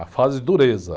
A fase de dureza.